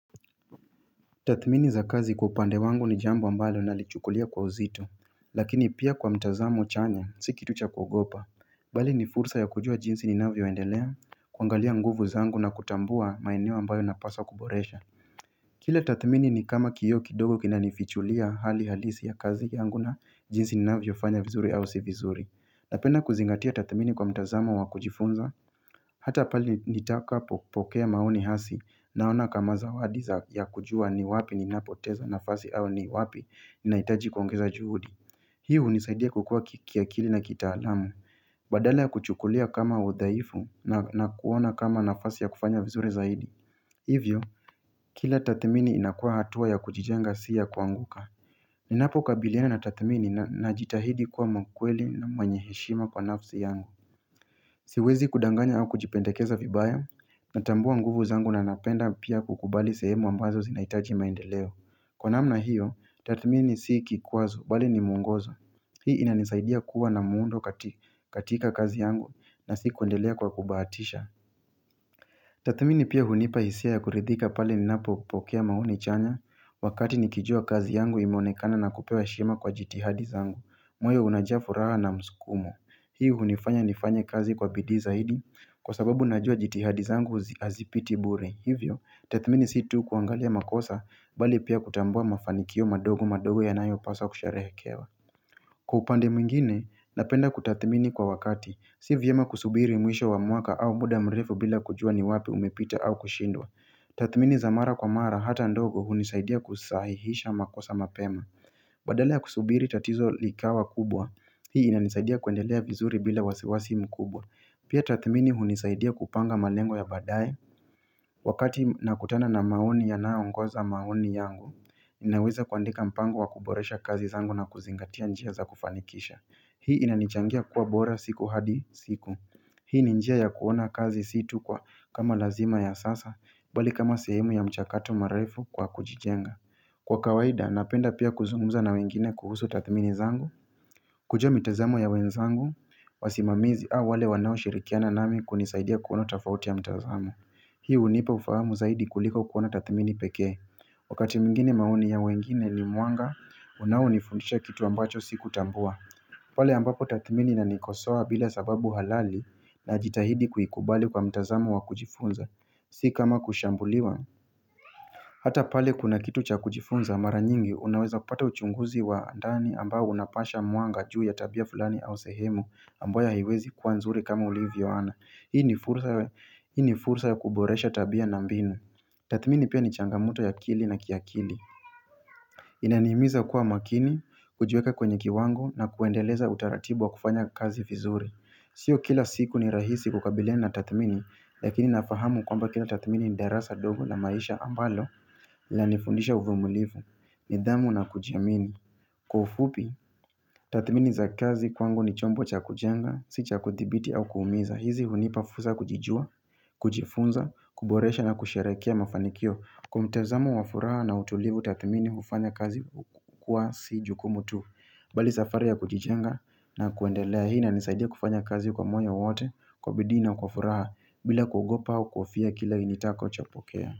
Tathmini za kazi kwa upande wangu ni jambo ambalo nalichukulia kwa uzito lakini pia kwa mtazamo chanya si kitu cha kuogopa bali ni fursa ya kujua jinsi ninavyo endelea kuangalia nguvu zangu na kutambua maeneo ambayo napaswa kuboresha Kile tathmini ni kama kioo kidogo kina nifichulia hali halisi ya kazi yangu na jinsi ninavyo fanya vizuri au si vizuri napenda kuzingatia tathmini kwa mtazamo wa kujifunza Hata pali nitakapokea maoni hasi naona kama zawadi za ya kujua ni wapi ninapoteza nafasi au ni wapi ninaitaji kuongeza juhudi Hi unisaidia kukua kiakili na kitaalamu Badala ya kuchukulia kama udaifu na kuona kama nafasi ya kufanya vizuri zaidi Hivyo, kila tathmini inakua hatua ya kujijenga si ya kuanguka Ninapo kabiliana na tathmini na jitahidi kuwa mkweli na mweny heshima kwa nafsi yangu Siwezi kudanganya au kujipendekeza vibaya Natambua nguvu zangu na napenda pia kukubali sehemu ambazo zinaitaji maendeleo Kwa namna hiyo, tathmini si kikwazo, bali ni mwongozo Hii ina nisaidia kuwa na muundo katika kazi yangu na si kuendelea kwa kubahatisha Tathmini pia hunipa hisia ya kuridhika pale ninapo pokea maoni chanya Wakati nikijua kazi yangu imeonekana na kupewa heshima kwa jitihadi zangu moyo unajaa furaha na mskumo Hii hunifanya nifanye kazi kwa bidii zaidi Kwa sababu najua jitihadi zangu hazipiti bure. Hivyo, tathmini si tu kuangalia makosa bali pia kutambua mafanikio madogo madogo yanayo paswa kusharehekewa. Kupande mwingine, napenda kutathmini kwa wakati. Si vyema kusubiri mwisho wa muaka au muda mrefu bila kujua ni wapi umepita au kushindwa. Tathmini za mara kwa mara hata ndogo hunisaidia kusahihisha makosa mapema. Badala ya kusubiri tatizo likawa kubwa. Hii inanisaidia kuendelea vizuri bila wasiwasi mkubwa. Pia tathmini hunisaidia kupanga malengo ya baadaye Wakati nakutana na maoni yanaongoza maoni yangu naweza kuandika mpango wa kuboresha kazi zangu na kuzingatia njia za kufanikisha Hii inanichangia kuwa bora siku hadi siku Hii ninjia ya kuona kazi si tu kwa kama lazima ya sasa Bali kama sehemu ya mchakato maraifu kwa kujijenga Kwa kawaida napenda pia kuzungumza na wengine kuhusu tathmini zangu kujua mitazamo ya wenzangu wasimamizi au wale wanao shirikiana nami kunisaidia kuona tafauti ya mtazamo Hii unipa ufahamu zaidi kulika kuona tathmini peke Wakati mwngini maoni ya wengine ni mwanga, unao nifundisha kitu ambacho siku tambua pale ambapo tathmini inanikosawa bila sababu halali na jitahidi kuikubali kwa mtazamo wa kujifunza, si kama kushambuliwa Hata pale kuna kitu cha kujifunza mara nyingi unaweza kupata uchunguzi wa ndani ambao unapasha mwanga juu ya tabia fulani au sehemu ambayo haiwezi kuwa nzuri kama ulivyo ana. Hii ni fursa ya kuboresha tabia na mbinu. Tathmini pia ni changamoto ya akili na kiakili. Inanihimiza kuwa makini, kujuweka kwenye kiwango na kuendeleza utaratibu wa kufanya kazi vizuri Sio kila siku ni rahisi kukabiliana tathmini Lakini nafahamu kwamba kila tathmini ni darasa dogo la maisha ambalo Lananifundisha uvumilivu, nidhamu na kujiamini Kwa ufupi, tathmini za kazi kwangu ni chombo cha kujanga, si cha kuthibiti au kuumiza hizi hunipafursa ya kujijua, kujifunza, kuboresha na kusharehekea mafanikio Kwa mtazamo wa furaha na utulivu tathmini ufanya kazi kuwa si jukumu tu Bali safari ya kujijenga na kuendelea hii ina nisaidia kufanya kazi kwa moyo wote Kwa bidii na kwa furaha bila kuogopa au kuhofia kile nitakachopokea.